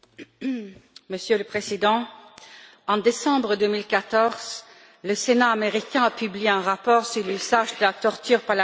Monsieur le Président, en décembre 2014, le Sénat américain a publié un rapport sur l'usage de la torture par la CIA.